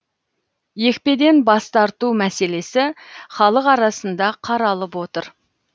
екпеден бас тарту мәселесі халық арасында қаралып отыр